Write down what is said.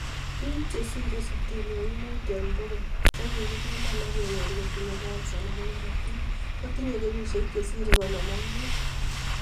Biik chesire sitini ak muut en bogol che kikipiman ak kenyor kotinye kansa nebo korotik kotinye kenyishek chesire konon ak muut